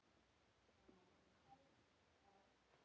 Þeir gætu orðið fleiri.